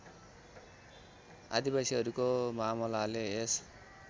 आदिवासीहरूको मामलाले यस